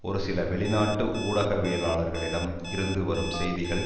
ஒரு சில வெளிநாட்டு ஊடகவியலாளர்களிடம் இருந்து வரும் செய்திகள்